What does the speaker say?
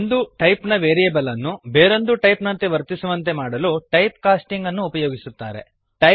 ಒಂದು ಟೈಪ್ ನ ವೇರಿಯೇಬಲ್ ಅನ್ನು ಬೇರೊಂದು ಟೈಪ್ ನಂತೆ ವರ್ತಿಸುವಂತೆ ಮಾಡಲು ಟೈಪ್ ಕಾಸ್ಟಿಂಗ್ ಅನ್ನು ಉಪಯೋಗಿಸುತ್ತಾರೆ